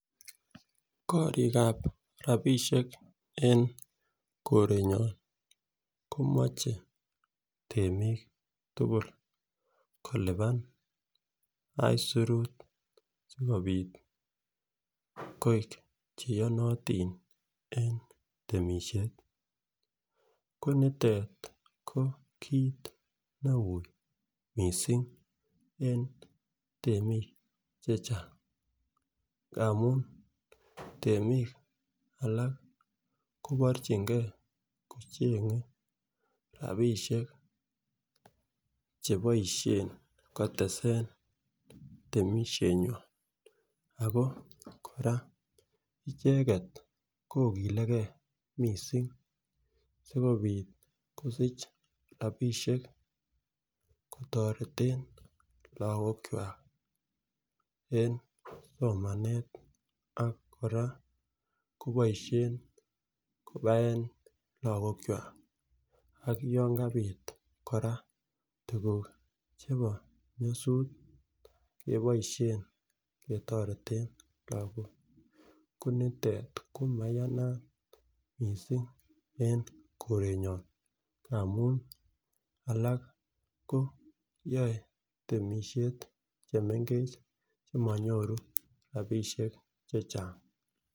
Korikab rabishek en korenyon komoche temik tukul kilipan isurut sikopit koik cheyonotin en temishet ko nitet ko kit neu missing en temik chechang ngamun temik alak koborchingee kochenge rabishek cheiboishen kotesen temishet nywan Ako koraa icheket kokilegee missing sikopit kosich rabishek kotoreten lokok kwak en somananet ak koraa koboishen kobaen lokok kwak, ak yon kapit koraa tukuk chebo nyosut keboishen ketoretengee ko nitet ko maiyanat missing en korenyon amun alak koyoen temishet chemengech chemonyoru rabishek chechang.